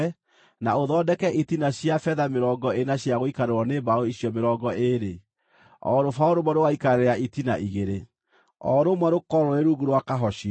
na ũthondeke itina cia betha mĩrongo ĩna cia gũikarĩrwo nĩ mbaũ icio mĩrongo ĩĩrĩ, o rũbaũ rũmwe rũgaikarĩra itina igĩrĩ, o rũmwe rũkorwo rũrĩ rungu rwa kahocio.